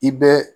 I bɛ